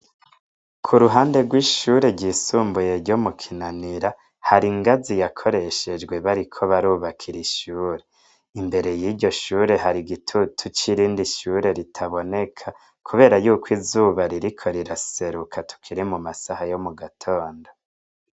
Ku ruhande rw'ishure ryisumbuye ryo mu Kinanira hari ingazi yakoreshejwe bariko barubakira ishure. Imbere y'iryo shure hari gitutu c'irindi shure ritaboneka kubera yuko izuba ririko riraseruka tukiri mu masaha yo mu gatondo.